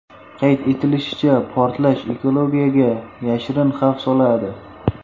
Qayd etilishicha, portlash ekologiyaga yashirin xavf soladi.